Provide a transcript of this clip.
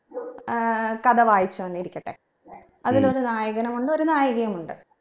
ഏർ കഥ വായിച്ചുവെന്നിരിക്കട്ടെ അതിലൊരു നായകനും ഉണ്ട് ഒരു നായികയും ഉണ്ട്